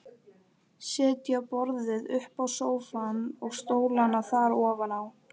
Setja borðið uppá sófann og stólana þar ofaná.